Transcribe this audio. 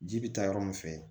Ji bi taa yɔrɔ min fɛ